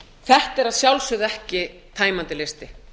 þetta er að sjálfsögðu ekki tæmandi listi